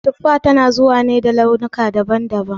Tuffa tana zuwa ne da launuka daban daban